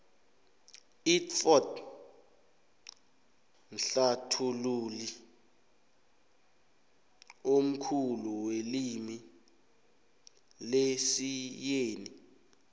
idxford mhlathului omkhulu welimu lesiyeni